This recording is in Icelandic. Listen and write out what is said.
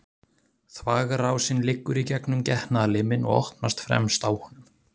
Þvagrásin liggur í gegnum getnaðarliminn og opnast fremst á honum.